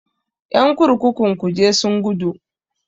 Ƴan kurkukun kuje sun gudu.